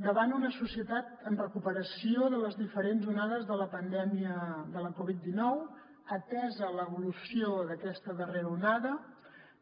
davant una societat en recuperació de les diferents onades de la pandèmia de la covid dinou atesa l’evolució d’aquesta darrera onada